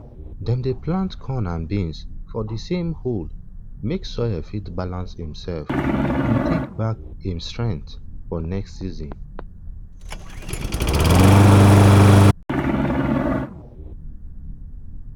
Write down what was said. dem dey plant corn and beans for di same hole make soil fit balance imself and tek back im strength for next season